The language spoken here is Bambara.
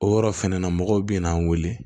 O yɔrɔ fɛnɛ na mɔgɔw bina an weele